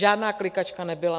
Žádná klikačka nebyla.